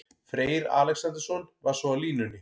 Freyr Alexandersson var svo á línunni.